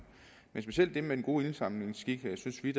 men specielt det med den gode indsamlingsskik synes vi